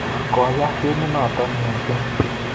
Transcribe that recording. Koyaaa gemit notok missing